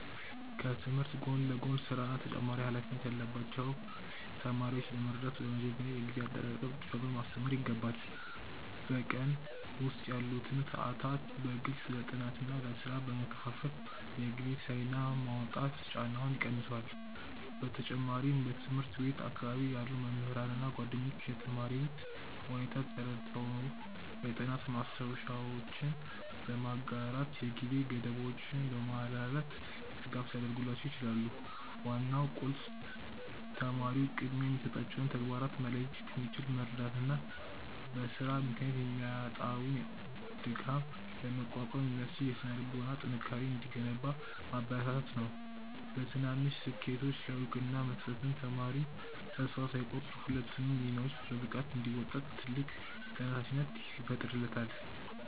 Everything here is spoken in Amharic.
ከትምህርት ጎን ለጎን ሥራና ተጨማሪ ኃላፊነት ያለባቸውን ተማሪዎች ለመርዳት በመጀመሪያ የጊዜ አጠቃቀም ጥበብን ማስተማር ይገባል። በቀን ውስጥ ያሉትን ሰዓታት በግልጽ ለጥናትና ለሥራ በመከፋፈል የጊዜ ሰሌዳ ማውጣት ጫናውን ይቀንሰዋል። በተጨማሪም በትምህርት ቤት አካባቢ ያሉ መምህራንና ጓደኞች የተማሪውን ሁኔታ ተረድተው የጥናት ማስታወሻዎችን በማጋራትና የጊዜ ገደቦችን በማላላት ድጋፍ ሊያደርጉላቸው ይችላሉ። ዋናው ቁልፍ ተማሪው ቅድሚያ የሚሰጣቸውን ተግባራት መለየት እንዲችል መርዳትና በሥራ ምክንያት የሚመጣውን ድካም ለመቋቋም የሚያስችል የሥነ-ልቦና ጥንካሬ እንዲገነባ ማበረታታት ነው። በትናንሽ ስኬቶች ላይ እውቅና መስጠትም ተማሪው ተስፋ ሳይቆርጥ ሁለቱንም ሚናዎች በብቃት እንዲወጣ ትልቅ ተነሳሽነት ይፈጥርለታል።